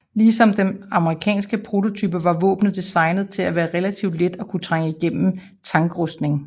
Ligesom den amerikanske prototype var våbnet designet til at være relativt let og kunne trænge igennem tankrustning